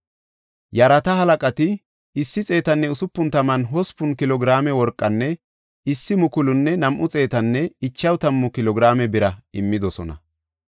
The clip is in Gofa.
Attida asay 168 kilo giraame worqa, 140 kilo giraame biranne 67 kahine ma7ota immidosona.